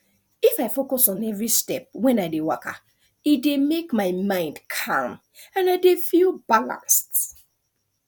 if i focus on every step when i dey waka e dey make my mind calm and i dey feel balanced